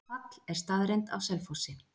Fall er staðreynd á Selfossi.